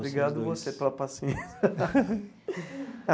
Obrigado a você pela paciência.